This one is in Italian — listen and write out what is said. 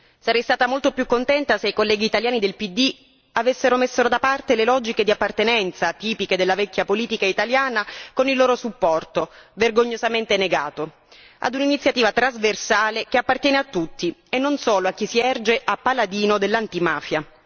Sarei stata molto più contenta se i colleghi italiani del PD avessero messo da parte le logiche di appartenenza, tipiche della vecchia politica italiana, con il loro supporto vergognosamente negato ad un'iniziativa trasversale che appartiene a tutti e non solo a chi si erge a paladino dell'antimafia.